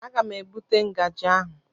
Aga m ebute ngaji ahụ.